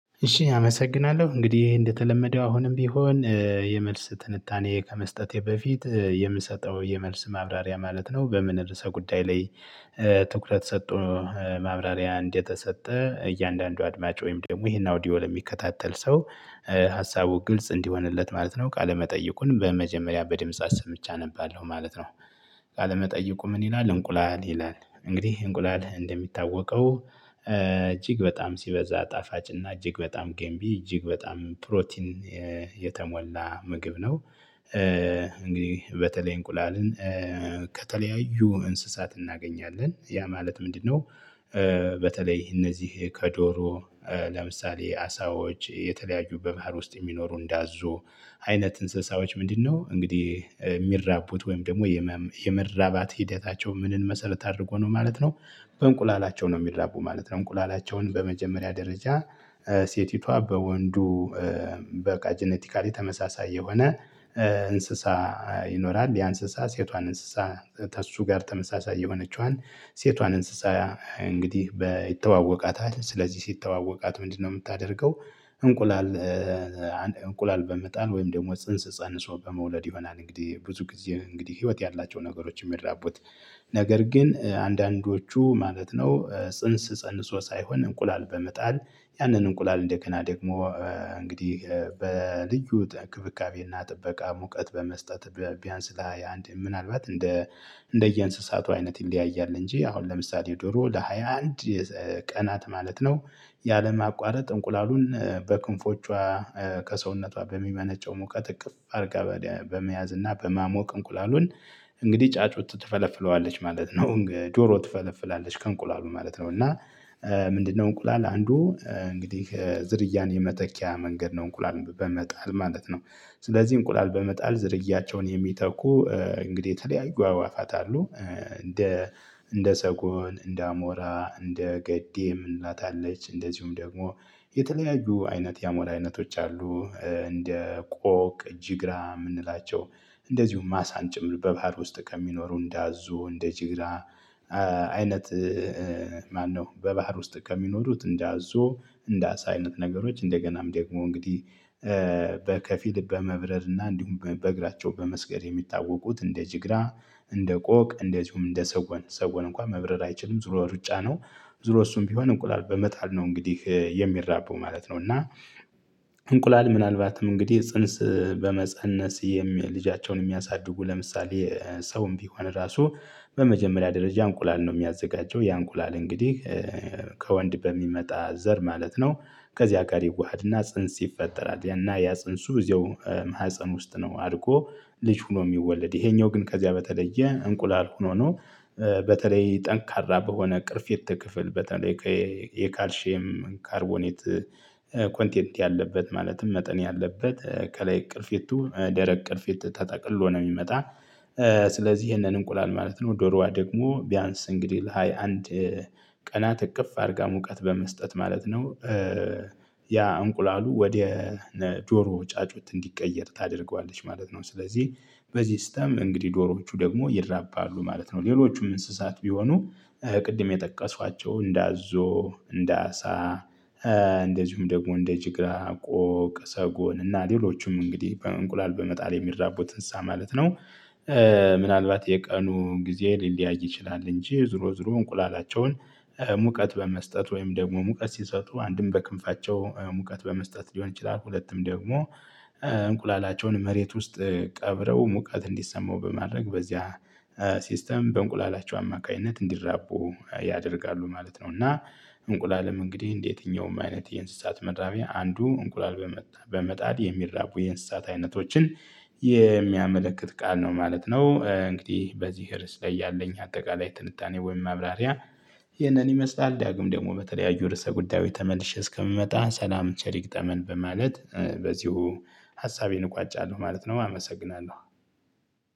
እሺ አመሰግናለሁ እንግዲህ እንደተለመደው አሁንም ቢሆን የመልስ ትንታኔ ከመስጠቴ በፊት የምሰጠው የመልስ ማብራሪያ ማለት ነው በምን ርዕሰ ጉዳይ ላይ ትኩረት ሰጥቶ ማብራሪያ እንዴት ተሰጠ እያንዳንዱ አድማጭ ወይም ደግሞ ይሄን አውዲዮ ለሚከታተል ሰው ሀሳቡ ግልጽ እንዲሆንለት ማለት ነው ቃለመጠየቁን በመጀመሪያ በድምጽ አሰምቸ አነባለሁ ማለት ነው። ቃለመጠየቁ ምን ይላል? እንቁላል ይላል እንግዲህ እንቁላል እንደሚታወቀው እጅግ በጣም ሲበዛ ጣፋጭ እና እጅግ በጣም ገንቢ እጅግ በጣም ፕሮቲን የተሞላ ምግብ ነው። እንግዲህ በተለይ እንቁላልን ከተለያዩ እንስሳት እናገኛለን ያ ማለት ምንድነው? በተለይ እነዚህ ከዶሮ ለምሳሌ አሳዎች የተለያዩ በባህር ውስጥ የሚኖሩ እንዳዞ አይነት እንስሳዎች ምንድነው እንግዲህ የሚራቡት ወይም ደግሞ የመራባት ሂደታቸው ምንን መሰረት አድርጎ ነው ማለት ነው። በእንቁላላቸው ነው የሚራቡ ማለት ነው። እንቁላላቸውን በመጀመሪያ ደረጃ ሴቲቷ በወንዱ በቃ ጄኔቲካሊ ተመሳሳይ የሆነ እንስሳ ይኖራል ያ እንስሳ ሴቷን እንስሳ ከሱ ጋር ተመሳሳይ የሆነችዋን ሴቷን እንስሳ እንግዲህ ይተዋወቃታል ስለዚህ ሲተዋወቃት ምንድነው የምታደርገው? እንቁላል እንቁላል በመጣል ወይም ደግሞ ፅንስ ፀንሶ በመውለድ ይሆናል። እንግዲህ ብዙ ጊዜ እንግዲህ ህይወት ያላቸው ነገሮችን የሚያራቡት። ነገር ግን አንዳንዶቹ ማለት ነው ፅንስ ፀንሶ ሳይሆን እንቁላል በመጣል ያንን እንቁላል እንደገና ደግሞ እንግዲህ በልዩ እክብካቤና ጥበቃ ሙቀት በመስጠት። ቢያንስ ለ ሃያ አንድ ምናልባት እንደ እንደየእንስሳቱ አይነት ይለያያል እንጂ አሁን ለምሳሌ ዶሮ ለሃያ አንድ ቀናት ማለት ነው። ያለማቋረጥ እንቁላሉን በክንፎቿ ከሰውነቷ በሚመነጨው ሙቀት እቅፍ አርጋ በመያዝ እና በማሞቅ እንቁላሉን እንግዲህ ጫጩት ትፈለፍለዋለች ማለት ነው። ዶሮ ትፈለፍላለች ከእንቁላል ማለት ነው። እና ምንድነው እንቁላል አንዱ እንግዲህ ዝርያን የመተኪያ መንገድ ነው። እንቁላል በመጣል ማለት ነው። ስለዚህ እንቁላል በመጣል ዝርያቸውን የሚተኩ እንግዲህ የተለያዩ አዋፋት አሉ። እንደ እንደ ሰጎን እንደ አሞራ እንደ ገዴም እንላታለች እንደዚሁም ደግሞ የተለያዩ አይነት ያሞራ አይነቶች አሉ። እንደ ቆቅ ጅግራ የምንላቸው እንደዚሁም አሳን ጭምር በባህር ውስጥ ከሚኖሩ እንዳዞ እንደ ጅግራ አይነት። ማነው በባህር ውስጥ ከሚኖሩት እንዳዞ እንዳሳ አይነት ነገሮች እንደገናም ደግሞ እንግዲህ በከፊል በመብረር እና እንዲሁም በእግራቸው በመስገር የሚታወቁት እንደ ጅግራ እንደ ቆቅ እንደዚሁም እንደ ሰጎን ሰጎን እንኳን መብረር አይችልም ዙሮ ሩጫ ነው። ዙሮ እሱም ቢሆን እንቁላል በመጣል ነው እንግዲህ የሚራባው ማለት ነው። እና እንቁላል ምናልባትም እንግዲህ ፅንስ በመፀነስ ልጃቸውን የሚያሳድጉ ለምሳሌ ሰውም ቢሆን ራሱ በመጀመሪያ ደረጃ እንቁላል ነው የሚያዘጋጀው ያ እንቁላል እንግዲህ ከወንድ በሚመጣ ዘር ማለት ነው። ከዚያ ጋር ይዋሃድና ፅንስ ይፈጠራል። ያ ፅንሱ እዚያው ማህፀን ውስጥ ነው አድርጎ ልጅ ሆኖ የሚወለድ ይሄኛው ግን ከዚያ በተለየ እንቁላል ሆኖ ነው። በተለይ ጠንካራ በሆነ ቅርፌት ክፍል በተለይ የካልሼም ካርቦኔት ኮንቴንት ያለበት ማለትም መጠን ያለበት ከላይ ቅርፌቱ ደረቅ ቅርፊት ተጠቅሎ ነው የሚመጣ። ስለዚህ ይሄንን እንቁላል ማለት ነው ዶሮዋ ደግሞ ቢያንስ እንግዲህ ለሃያ አንድ ቀናት እቅፍ አድርጋ ሙቀት በመስጠት ማለት ነው። ያ እንቁላሉ ወደ ዶሮ ጫጩት እንዲቀየር ታደርገዋለች ማለት ነው። ስለዚህ በዚህ ሲስተም እንግዲህ ዶሮዎቹ ደግሞ ይድራባሉ ማለት ነው። ሌሎቹም እንስሳት ቢሆኑ ቅድም የጠቀሷቸው እንደ አዞ እንደ አሳ እንደዚሁም ደግሞ እንደ ጅግራ ቆቅ ሰጎን እና ሌሎቹም እንግዲህ በእንቁላል በመጣል የሚራቡት እንስሳ ማለት ነው። ምናልባት የቀኑ ጊዜ ሊለያይ ይችላል እንጂ ዙሮ ዙሮ እንቁላላቸውን ሙቀት በመስጠት ወይም ደግሞ ሙቀት ሲሰጡ አንድም በክንፋቸው ሙቀት በመስጠት ሊሆን ይችላል። ሁለቱም ደግሞ እንቁላላቸውን መሬት ውስጥ ቀብረው ሙቀት እንዲሰማው በማድረግ በዚያ ሲስተም በእንቁላላቸው አማካኝነት እንዲራቡ ያደርጋሉ ማለት ነው። እና እንቁላልም እንግዲህ እንደየትኛውም አይነት የእንስሳት ምራቢያ አንዱ እንቁላል በመጣል የሚራቡ የእንስሳት አይነቶችን የሚያመለክት ቃል ነው ማለት ነው። እንግዲህ በዚህ ርዕስ ላይ ያለኝ አጠቃላይ ትንታኔ ወይም ማብራሪያ ይህንን ይመስላል። ዳግም ደግሞ በተለያዩ ርዕሰ ጉዳዩ ተመልሼ እስከምመጣ ሰላም ቸር ይግጠመን በማለት በዚሁ ሀሳቤን እቋጫለሁ ማለት ነው። አመሰግናለሁ።